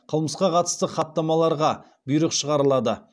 қылмысқа қатысты хаттамаларға бұйрық шығарылады